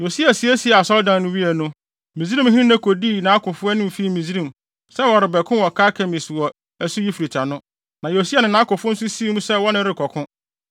Yosia siesiee Asɔredan no wiei no, Misraimhene Neko dii nʼakofo anim fii Misraim, sɛ wɔrebɛko wɔ Karkemis wɔ asu Eufrate ano. Na Yosia ne nʼakofo nso sii mu sɛ wɔne no rekɔko.